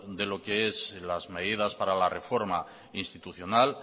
de lo que son las medidas para la reforma institucional